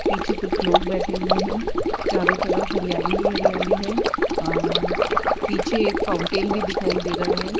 पीछे कुछ लोग बैठे हुए हैं चारों तरफ हरियाली ही हरियाली है अ पीछे एक फाउंटेन भी दिखाई दे रहा है।